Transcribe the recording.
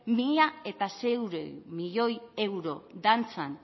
mila seiehun milioi euro dantzan